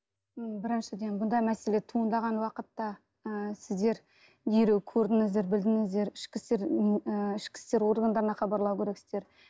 м біріншіден мұндай мәселе туындаған уақытта ы сіздер нені көрдіңіздер білдіңіздер ішкі істер м ы ішкі істер органдарына хабарлау керексіздер